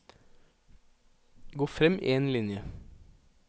Gå frem én linje